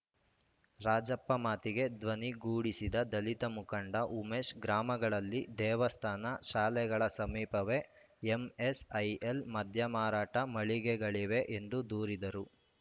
ರಾಜಪ್ಪ ಮಾತಿಗೆ ಧ್ವನಿಗೊಡಿಸಿದ ದಲಿತ ಮುಖಂಡ ಉಮೇಶ್‌ ಗ್ರಾಮಗಳಲ್ಲಿ ದೇವಸ್ಥಾನ ಶಾಲೆಗಳ ಸಮೀಪವೇ ಎಂಎಸ್‌ಐಎಲ್‌ ಮದ್ಯಮಾರಾಟ ಮಳಿಗೆಗಳಿವೆ ಎಂದು ದೂರಿದರು